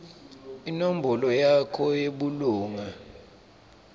inombolo yakho yebulunga